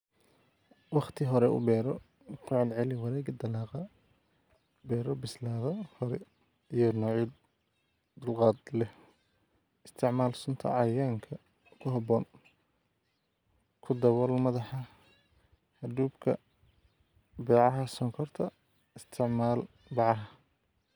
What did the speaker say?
"Wakhti hore u beero, ku celceli wareegga dalagga, beero bislaada hore iyo noocyo dulqaad leh, isticmaal sunta cayayaanka ku habboon, ku dabool madaxa hadhuudhka bacaha sonkorta, isticmaal bacaha."